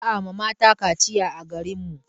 Ba a ma mata kaciya a garin mu.